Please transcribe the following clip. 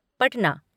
Patna